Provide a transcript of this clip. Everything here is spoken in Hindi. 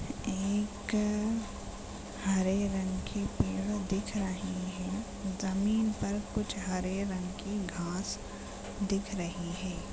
एक हरे रंग की पेड़ दिख रही है जमीन पर कुछ हरे रंग की घास दिख रही है।